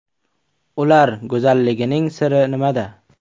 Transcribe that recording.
Ular go‘zalligining siri nimada?